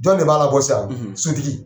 Jɔn de b'a labɔ sisan? Sotigi..